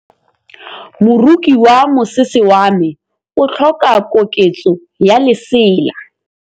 Moroki wa mosese wa me o tlhoka koketsô ya lesela.